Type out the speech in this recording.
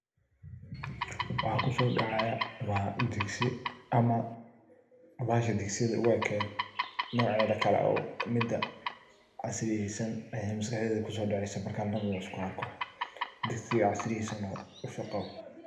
Waxa kusodacaya waa digsi ,ama bahasha digsiga u eked noceda kale oo casriyeysan ayaa maskaxdeyda kuso dacesa markan arko .Digsiga casriyeysan oo dusuq qabo.